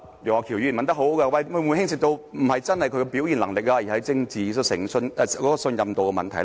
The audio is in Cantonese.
楊岳橋議員問得很好，這是否並非牽涉到他的表現能力，而只是政治信任度的問題？